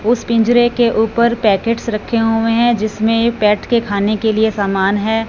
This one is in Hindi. उस पिंजरे के ऊपर पैकेट्स रखे हुए हैं जिसमें ये पेट के खाने के लिए समान है।